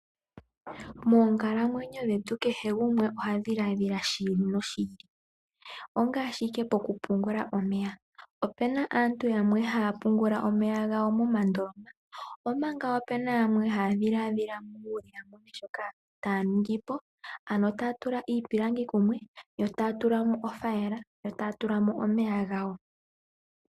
Moonkalamwenyo dhetu kehe gumwe ohadhiladhila shili noshili. Ongaashi okupungula omeya, opuna aantu yamwe haya pungula omeya gawo momandoloma omanga opuna yamwe haya longitha uunongo wawo wokutula iipilangi kumwe, meni taya tulamo othayila nomeya.